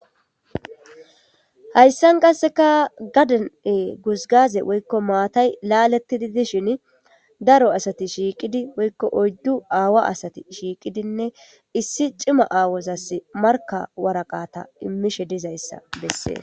Hayissan qasekka gaden guzigaze woyikko matay laletid dishin daro asati shiqidi woyikko oyddu awa asati shiqidi Issi cimma awozass marka waraqata imishshe dizayissa besses